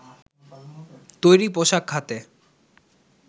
তৈরি পোশাক খাতে